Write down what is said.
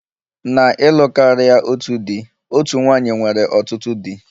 Na ịlụ karịa otu di, otu nwanyị nwere ọtụtụ di